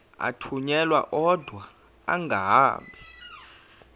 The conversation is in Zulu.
athunyelwa odwa angahambi